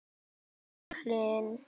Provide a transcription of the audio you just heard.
Hildur Hlín.